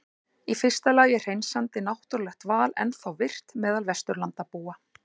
Í fyrsta lagi er hreinsandi náttúrulegt val ennþá virkt meðal Vesturlandabúa.